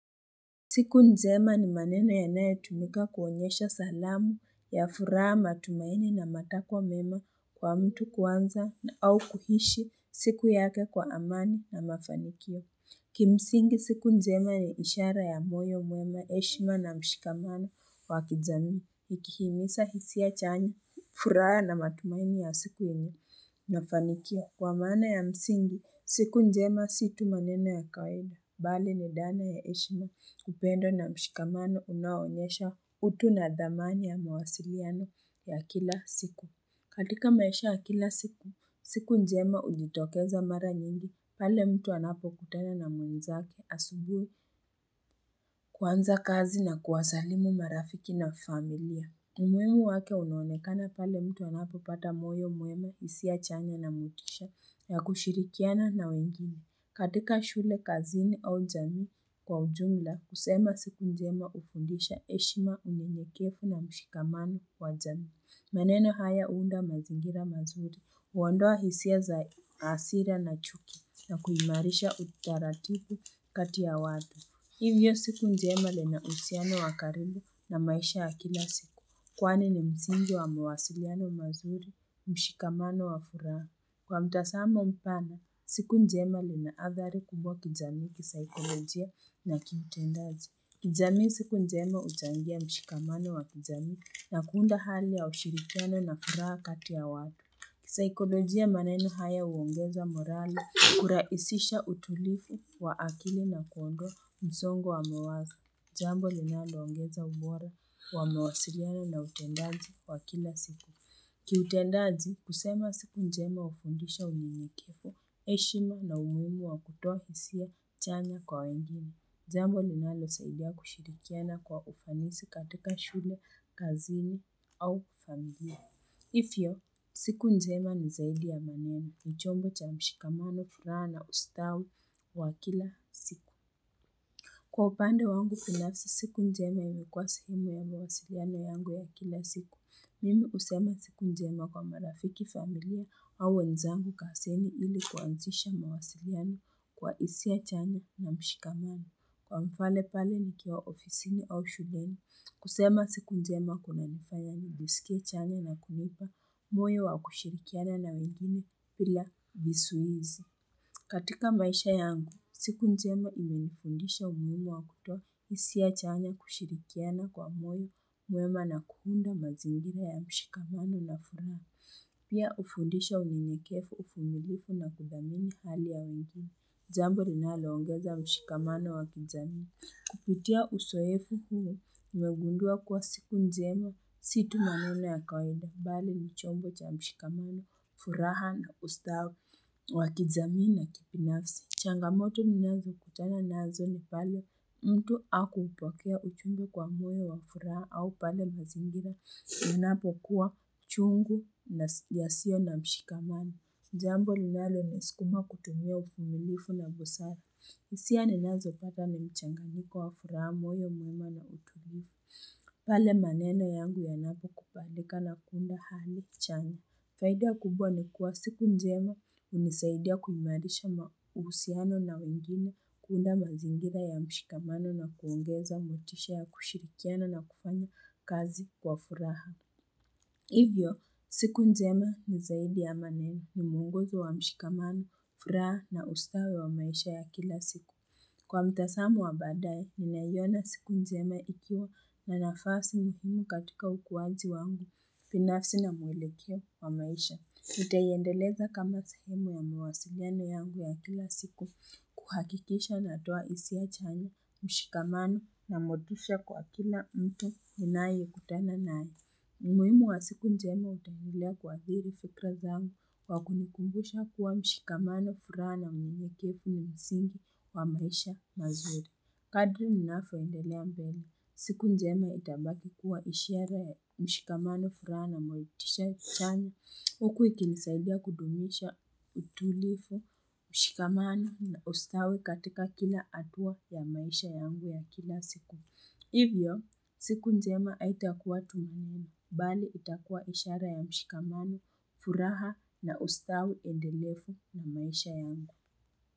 Siku njema ni maneno yanayo tumika kuonyesha salamu ya furaha matumaini na matakwa mema kwa mtu kwanza au kuishi siku yake kwa amani na mafanikio. Kimsingi siku njema ni ishara ya moyo mwema heshima na mshikamano kwa kijamii. Ikihimiza hisia chanya furaha na matumaini ya siku yenye mafanikio. Kwa maana ya msingi, siku njema si tu maneno ya kawaida, bali ni dhana ya heshima, upendo na mshikamano unaonyesha utu na dhamani ya mawasiliano ya kila siku. Katika maisha ya kila siku, siku njema hujitokeza mara nyingi, pale mtu anapo kutana na mwenzake asubuhi kuanza kazi na kuwasalimu marafiki na familia. Umuhimu wake unuonekana pale mtu anapo pata moyo mwema hisia changa na motisha ya kushirikiana na wengine. Katika shule, kazini au jamii kwa ujumla kusema siku njema hufundisha heshima unyenyekevu na mshikamano wa jamii. Maneno haya huunda mazingira mazuri, huondoa hisia za hasira na chuki na kuimarisha utaratibu katia watu. Hivyo siku njema lina uhusiano wa karibu na maisha ya kila siku. Kwani ni msingi wa mawasiliano mazuri, mshikamano wa furaha. Kwa mtazamo mpana, siku njema njema lina adhari kubwa kijamii, kisaikolojia na kiutendaji. Kijamii siku njema huchangia mshikamano wa kijamii na kuunda hali ya ushirikano na furaha kati ya watu. Kisaikolojia maneno haya huongeza morali, kurahisisha utulivu wa akili na kuondoa msongo wa mawazo, jambo linalo ongeza ubora wa mawasiliano na utendaji wa kila siku. Kiutendaji kusema siku njema hufundisha unyenyekevu, heshima na umuhimu wa kutoa hisia chanya kwa wengine, jambo linalo saidia kushirikiana kwa ufanisi katika shule, kazini au kufagia. Hiyo, siku njema ni zaidi ya mameno chombo cha mshikamano furaha na ustawi wa kila siku. Kwa upande wangu binafsi siku njema imekuwa husema ya mawasiliano yangu ya kila siku, mimi husema siku njema kwa marafiki familia au wenzangu kazini ili kuanzisha mawasiliano kwa hisia ya chanya na mshikamano. Kwa mfano pale nikiwa ofisini au shuleni kusema siku njema kuna nifanya nijisikie chanya na kunipa moyo wa kushirikiana na wegine bila vizuizi. Katika maisha yangu, siku njema imenifundisha umuhimu wa kutoa hisia chanya kushirikiana kwa moyo muwema na kuunda mazingira ya mshikamano na furaha. Pia hufundisha unyenyevu, uvumilivuu na kudhamini hali ya wengine. Zambo linalo ongeza mshikamano wa kijamii. Kupitia uzoefu huo nimegundua kuwa siku njema, si tu maneno ya kawainda, bali ni chombo cha mshikamano, furaha na ustawi, wa kijamii na kibinafsi. Changamoto ninazo kutana nazo ni pale, mtu hakupokea uchungu kwa moyeowa furaha, au pale mazingira, ninapo kuwa chungu yasio na mshikamano. Jambo linalo niskuma kutumia uvumilifu na busara. Hisia ni nazo pata ni mchanganyiko wa furaha moyo mwema na utulivu. Pale maneno yangu yanapo kubalika na kuunda hali chanya. Faida kubwa ni kuwa siku njema hunisaidia kumairisha uhusiano na wengine kuunda mazingira ya mshikamano na kuongeza motisha ya kushirikiana na kufanya kazi kwa furaha. Hivyo, siku nzema ni zaidi ya maneno ni muongozi wa mshikamano, furaha na ustawi wa maisha ya kila siku. Kwa mtazamu wa baadae, ninaiona siku njema ikiwa na nafasi muhimu katika ukuaji wangu binafsi na mwelekeo wa maisha. Nitaiendeleza kama sehemu ya mawasiliano yangu ya kila siku kuhakikisha natoa hisia chanya mshikamano na motisha kwa kila mtu ninaye kutana naye. Umuhimu wa siku njema utaendelea kuathiri fikra zangu kwa kunikumbusha kuwa mshikamano, furaha na unyenyekevu ni msingi wa maisha mazuri. Kadri ninavyo endelea mbele. Siku njema itabaki kuwa ishiara ya mshikamano furaha na motisha chanya huku ikinisaidia kudumisha utulivu, mshikamano na ustawi katika kila hatua ya maisha yangu ya kila siku. Hivyo, siku nzema haitakuwa tumaini, bali itakuwa ishara ya mshikamano, furaha na ustawi endelevu na maisha yangu.